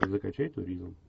закачай туризм